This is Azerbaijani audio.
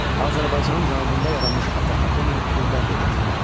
Azərbaycanın cənubunda yaranmış Atropatena quldar dövlət idi.